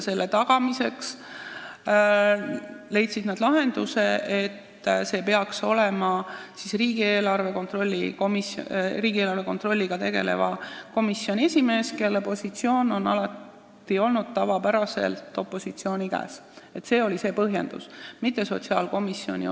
Selle tagamiseks leidsid nad lahenduse, et see esindaja peaks olema riigieelarve kontrolliga tegeleva komisjoni esimees, sest see positsioon on tavapäraselt opositsiooni käes olnud erinevalt sotsiaalkomisjonist.